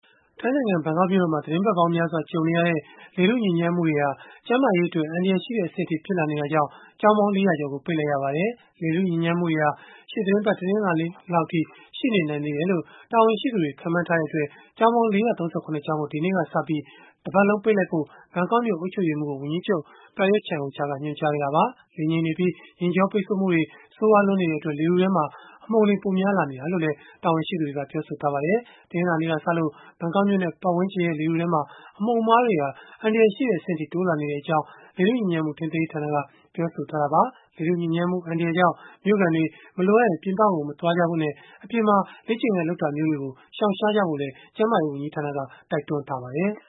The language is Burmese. ထိုင်းနိုင်ငံ ဘန်ကောက်မြို့တော်မှာ သီတင်းပတ်ပေါင်းများစွာ ကြုံနေရတဲ့ လေထု ညစ်ညမ်းမှုတွေဟာ ကျန်းမာရေးအတွက် အန္တရာယ်ရှိတဲ့ အဆင့်အထိ ဖြစ်လာနေ တာကြောင့် ကျောင်းပေါင်း ၄၀၀ ကျော်ကို ပိတ်လိုက်ရပါတယ်။ လေထုညစ်ညမ်းမှုတွေဟာ ရှေ့သီတင်းပတ် တနင်္လာနေ့လောက်အထိ ရှိနေနိုင်သေး တယ်လို့ တာဝန်ရှိသူတွေ ခန့်မှန်းထားတဲ့အတွက် ကျောင်းပေါင်း ၄၃၇ ကျောင်းကို ဒီနေ့ကစပြီး၊ တပတ်လုံး ပိတ်လိုက်ဖို့ ဘန်ကောက်မြို့ အုပ်ချုပ်ရေးမှူးကို ဝန်ကြီးချုပ် Prayuth Chan-ocha က ညွှန်ကြားခဲ့တာပါ။ လေငြိမ်နေပြီး ယာဉ်ကြောပိတ်ဆို့မှုတွေ ဆိုးရွားလွန်းနေတဲ့အတွက် လေထုထဲမှာ အမှုန်တွေ ပိုများလာနေတယ်လို့လည်း တာဝန်ရှိသူတွေက ပြောဆိုထားကြပါတယ်။ တနင်္လာနေ့ကစလို့ ဘန်ကောက်မြို့နဲ့ ပတ်ဝန်းကျင်ရဲ့ လေထုထဲမှာ အမှုန်အမွှားတွေဟာ အန္တရာယ်ရှိတဲ့ အဆင့်အထိ တိုးလာနေတဲ့အကြောင်း လေထုညစ်ညမ်းမှု ထိန်းသိမ်းရေးဌာနက ပြောဆိုထားတာပါ။ လေထုညစ်ညမ်းမှု အန္တရာယ်ကြောင့် မြို့ခံတွေ မလိုအပ်ရင် ပြင်ပကို မသွားကြဖို့နဲ့ အပြင်မှာ လေ့ကျင့်ခန်းလုပ်တာမျိုးတွေကို ရှောင်ရှားဖို့လည်း ကျန်းမာရေး ဝန်ကြီးဌာနက တိုက်တွန်းထားပါတယ်။